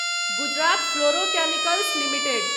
Gujarat Fluorochemicals limited